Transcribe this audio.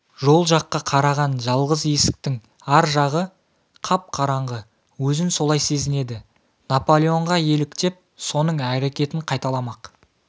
жол жаққа қараған жалғыз есіктің ар жағы қап-қараңғы өзін солай сезінеді наполеонға еліктеп соның әрекетін қайталамақ